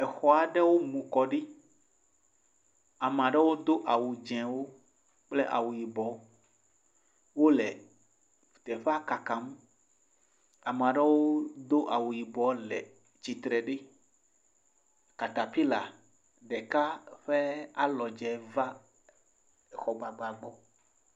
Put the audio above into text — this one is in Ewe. Exɔ aɖewo mu kɔ ɖi. Ame aɖewo do awu dze wo kple awu yibɔ. Wole teƒea kakam. Ame aɖewo do awu yibɔ le tsitre ɖi. Katapila ɖeka ƒe alɔdze va exɔma va gbɔ.